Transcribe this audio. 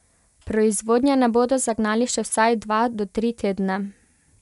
Proizvodnje ne bodo zagnali še vsaj dva do tri tedne.